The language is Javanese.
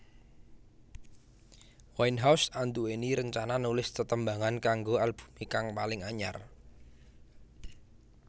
Winehouse anduwèni rencana nulis tetembangan kanggo albumé kang paling anyar